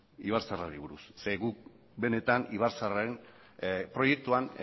guk benetan ibarzaharraren proiektuan